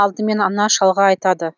алдымен ана шалға айтады